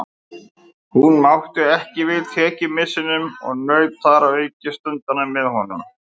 Hún mátti ekki við tekjumissinum og naut þar að auki stundanna með honum.